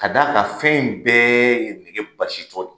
Ka d'a ka fɛn in bɛɛ ye nege basi tɔ.